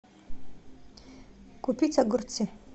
купить огурцы